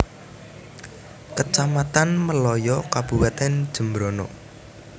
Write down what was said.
Kecamatan Melaya Kabupatèn Jembrana